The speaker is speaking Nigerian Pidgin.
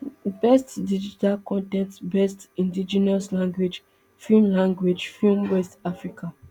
best digital con ten t best indigenous language film language film west africa